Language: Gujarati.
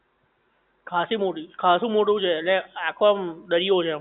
ખાસી મોટી, ખાસું મોટું છે ઍટલે આખો આમ દરિયો છે.